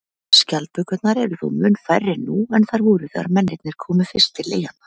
Skjaldbökurnar eru þó mun færri nú en þær voru þegar mennirnir komu fyrst til eyjanna.